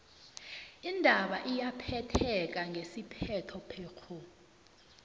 indaba iyaphetheka ngesiphetho phekghu